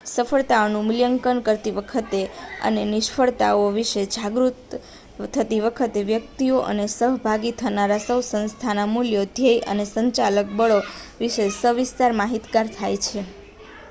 સફળતાઓનું મૂલ્યાંકન કરતી વખતે અને નિષ્ફળતાઓ વિશે જાગરૂક થતી વખતે વ્યક્તિઓ અને સહભાગી થનારા સૌ સંસ્થાના મૂલ્યો ધ્યેય અને સંચાલક બળો વિશે સવિસ્તાર માહિતગાર થાય છે